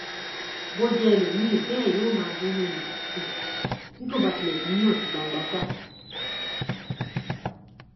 bó jẹ ẹlòmíín bẹẹ yóò máa bínú ni um bí kò bá tilẹ bínú náà sí gbangba um